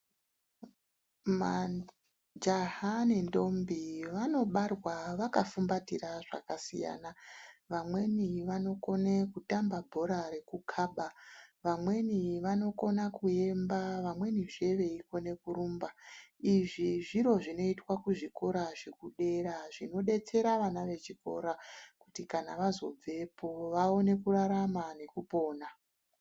Majaha nendombi vanobarwa vakafumbatira zvakasiyana. Vamweni vanokone kutamba bhora rekukhaba, vamweni vanokona kuemba, vamwenizve veikone kurumba. Izvi zviro zvinoitwa kuzvikora zvekudera zvinodetsera vana vechikora, kuti kana vazobvepo vaone kurarama nekupona.